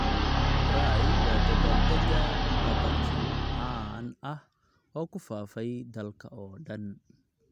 Braai waa dabbaaldegga barbecue caan ah oo ku faafay dalka oo dhan,